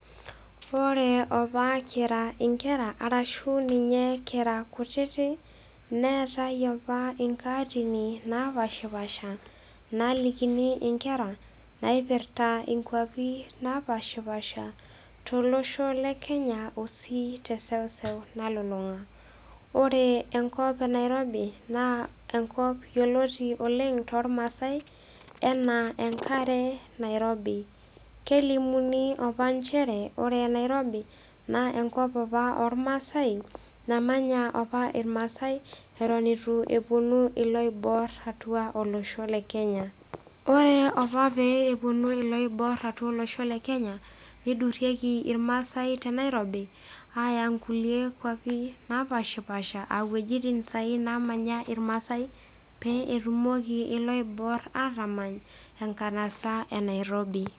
Ore opa kira inkera arashu ninye kira kutitik, neatai opa inkaatin napaashipaasha naalikini inkera, naipirta inkwapi napaashipaasha, tolosho le Kenya ashu te eseuseu nalulung'a. Ore enkop e Nairobi naa enkop yioloti oleng' toolmaasai anaa "enkare nairobi". Kelimuni opa nchere ore Nairobi, naa enkop opaa olmaasai namanya opa ilmaasai ewuen eitu epuonu iloibor atua olosho le Kenya. Ore opa pee ewuonu iloiboor atua olosho le Kenya neidurieki ilmaasai te Nairobi aaya inkuli inkwapi napaashipaasha aa iwuetin saai naamanya ilmaasai pee etumoki ilooibor atamany enkanasa e Nairobi.